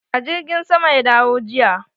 A jirgin sama ya dawo jiya.